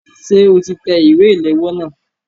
Ṣé o ti tẹ ìwé ìléwọ́ náà?